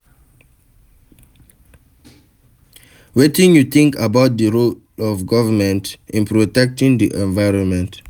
Wetin you think about di role of govrnment in protecting di environment?